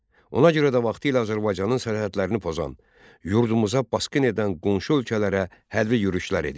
Ona görə də vaxtilə Azərbaycanın sərhədlərini pozan, yurdumuza basqın edən qonşu ölkələrə hərbi yürüşlər edirdi.